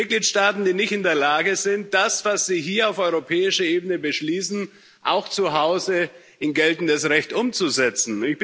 In den Mitgliedstaaten, die nicht in der Lage sind, das, was sie hier auf europäischer Ebene beschließen, auch zu Hause in geltendes Recht umzusetzen.